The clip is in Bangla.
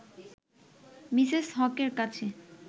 মিসেস হকের কাছে